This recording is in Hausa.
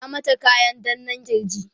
ya mata kayan danna kirj?